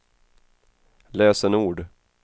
lösenord